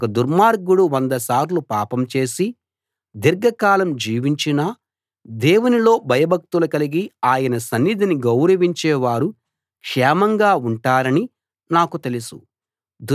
ఒక దుర్మార్గుడు వంద సార్లు పాపం చేసి దీర్ఘకాలం జీవించినా దేవునిలో భయభక్తులు కలిగి ఆయన సన్నిధిని గౌరవించేవారు క్షేమంగా ఉంటారని నాకు తెలుసు